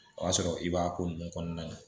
O y'a sɔrɔ i b'a ko ninnu kɔnɔna na